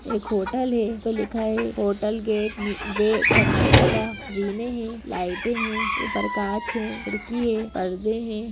एक होटल है पर लिखा हुआ है होटल गेट वे कर्नाटका है लाइट है ऊपर कांच है खिड़की है पर्दे है।